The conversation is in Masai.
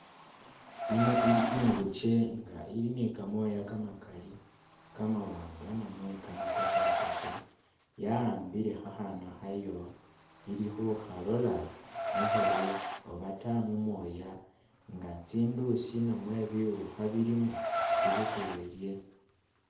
Ino ili imguje nga ili ne kamoya kamakali kamawanga namwe kamakoshakoshe , ya'ambile khakhana khayo ili khu khalola mukhuru obata mumoya nga tsinduusi obata buwukha bulimo ibukule ilye.